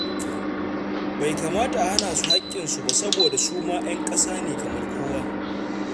Bai kamata a hana su haƙƙinsu ba saboda su ma 'yan ƙasa ne kamar kowa.